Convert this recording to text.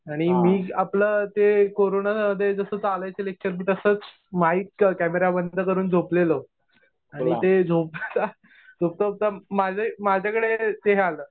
आणि मी आपलं ते कोरोना मध्ये जसं चालायचे लेक्चर मी तसंच माईक, कॅमेरा बंद करून झोपलेलो. आणि ते झोपता-झोपता माझ्याकडे ते हे आलं.